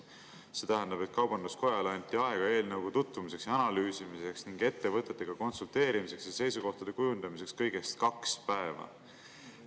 See tähendab, et Kaubanduskojale anti aega eelnõuga tutvumiseks ja analüüsimiseks ning ettevõtetega konsulteerimiseks ja seisukohtade kujundamiseks kõigest kaks päeva.